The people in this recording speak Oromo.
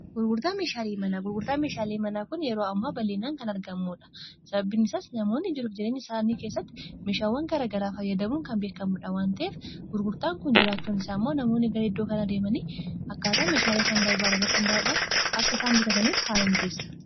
gurgurtaa meeshaalii manaa kun yeroo ammaa bal'iinaan kan argamuudha sababiin isaas namoonni jiru jireenya isaanii keessatti meeshaawwan garagaraa fayyadamuun kan beekamudha wanteef gurgurtaan kun jiraachuun isaa immoo namoonni garaiddoo kan adeemanii akkaataan meeshaalai isaan barbaala irratti hunda'uudhaan akka isaan bitataniif haala mijeessa